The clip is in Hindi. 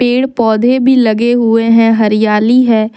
पेड़ पौधे भी लगे हुए हैं हरियाली है।